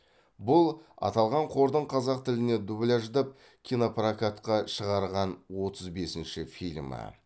бұл аталған қордың қазақ тіліне дубляждап кинопрокатқа шығарған отыз бесінші фильмі